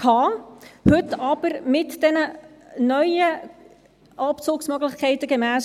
Heute aber mit diesen neuen Abzugsmöglichkeiten gemäss